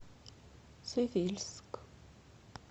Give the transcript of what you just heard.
цивильск